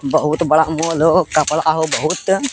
बहुत बड़ा मॉल होअ कपड़ा हो बहुत --